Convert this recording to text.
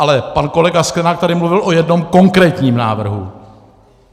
Ale pan kolega Sklenák tady mluvil o jednom konkrétním návrhu.